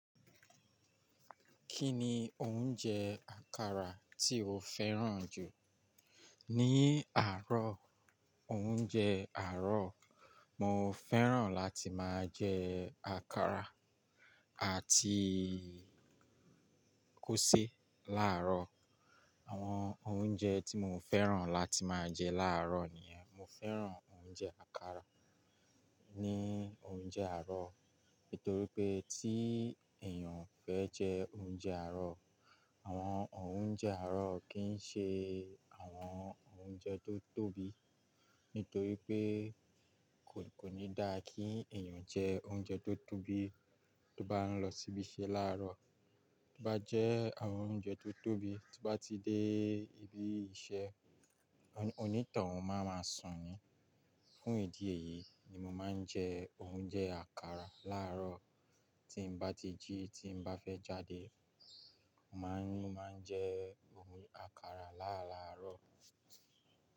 Kí ni oúnjẹ àkàrà tí o fẹ́ràn jù? Ni àárọ̀, oúnjẹ àárọ̀, mo fẹ́ràn láti máa jẹ àkàrà àti kósè láàárọ̀. Àwọn oúnjẹ tí mo fẹ́ràn láti máa jẹ láàárọ̀ nìyẹn. Mo fẹ́ràn oúnjẹ àkàrà ní oúnjẹ àárọ̀ nítorí pé tí èèyàn fẹ́ jẹ oúnjẹ àárọ̀, àwọn oúnjẹ àárọ̀ kì í ṣe àwọn oúnjẹ tó tóbi. Nítorí pé kò, kò ní dá kí èèyàn jẹ oúnjẹ tó tóbi tó bá ń lọ síbi iṣẹ́ láàárọ̀. Tó bá jẹ àwọn oúnjẹ tó tóbi, tó bá ti dé ibi iṣẹ́, oní tàn wùn máa ma sùn ni. Fún ìdí èyí ni mo máa ń jẹ oúnjẹ àkàrà láàárọ̀. Tí m bá ti jí, tí m bá fẹ́ jáde, mo máa ń, máa ń jẹ àkàrà láràárọ̀.